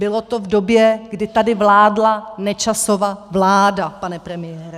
Bylo to v době, kdy tady vládla Nečasova vláda, pane premiére.